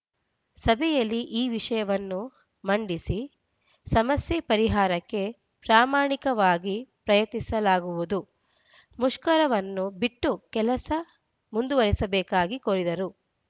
ಸಭೆಯಲ್ಲಿ ಈ ವಿಷಯವನ್ನು ಮಂಡಿಸಿ ಸಮಸ್ಯೆ ಪರಿಹಾರಕ್ಕೆ ಪ್ರಮಾಣಿಕವಾಗಿ ಪ್ರಯತ್ನಿಸಲಾಗುವುದು ಮುಷ್ಕರವನ್ನು ಬಿಟ್ಟು ಕೆಲಸ ಮುಂದುವರೆಸಬೇಕಾಗಿ ಕೋರಿದರು